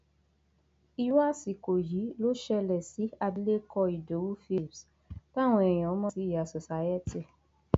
irú àsìkò yìí ló ṣẹlẹ sí abilékọ ìdòwú philips táwọn èèyàn mọ sí ìyá society